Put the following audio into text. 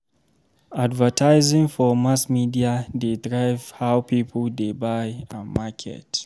Advertising for mass media dey drive how people dey buy and market.